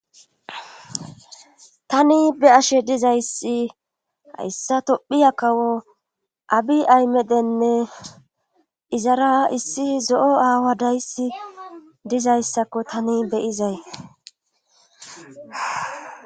tani be'ashe dizayssi hayssa tophiya kawo abi aymedenne izara issi zo'o aawa dayssi dizayssakko tani be'izay